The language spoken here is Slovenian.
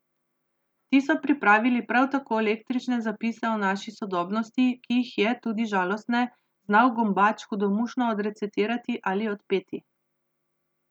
Ti so pripravili prav tako eklektične zapise o naši sodobnosti, ki jih je, tudi žalostne, znal Gombač hudomušno odrecitirati ali odpeti.